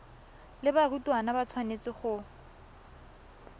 le barutwana ba tshwanetse go